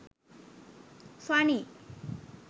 funny